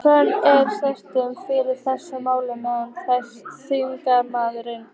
Höskuldur: Er stuðningur fyrir þessu máli meðal þingmanna?